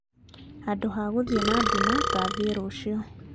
Handũ ha guthiĩ na nduma ngathiĩ rũciũ